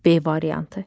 B variantı.